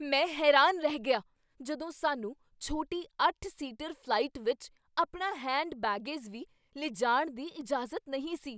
ਮੈਂ ਹੈਰਾਨ ਰਹਿ ਗਿਆ ਜਦੋਂ ਸਾਨੂੰ ਛੋਟੀ ਅੱਠ ਸੀਟਰ ਫ਼ਲਾਈਟ ਵਿਚ ਆਪਣਾ ਹੈਂਡ ਬੈਗਜ਼ ਵੀ ਲਿਜਾਣ ਦੀ ਇਜਾਜ਼ਤ ਨਹੀਂ ਸੀ